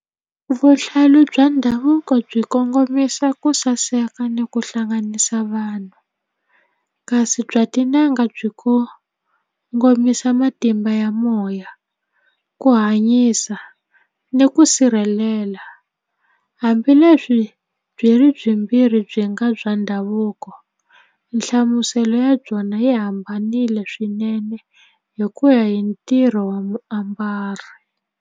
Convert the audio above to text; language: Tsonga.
Vuhlalu bya ndhavuko byi kongomisa ku saseka ni ku hlanganisa vanhu kasi bya tin'anga byi kongomisa matimba ya moya ku hanyisa ni ku sirhelela hambileswi byi ri byimbirhi byi nga bya ndhavuko nhlamuselo ya byona yi hambanile swinene hi ku ya hi ntirho wa muambari.